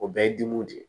O bɛɛ ye dimiw de ye